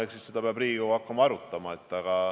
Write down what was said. Eks seda peab Riigikogu hakkama arutama.